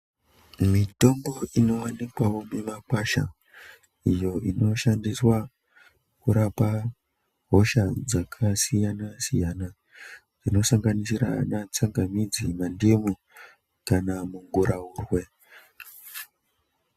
Minotombo inowanikwawo mumakwasha iyo inoshandiswa kurapa hosha dzakasiyana-siyana, inosanganisira ana tsangamidzi, mandimu kana muguraurwe.